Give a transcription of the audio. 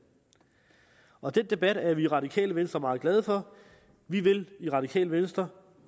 og den debat er vi i radikale venstre meget glade for vi vil i radikale venstre